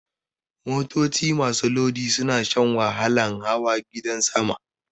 Motoci masu lodi suna shan wahalan hawa gadan sama.